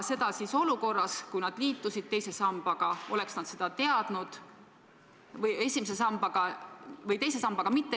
Seda nad siis, kui otsustasid teise sambaga mitte liituda, ei teadnud.